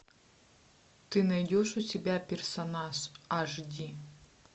ты найдешь у себя персонаж аш ди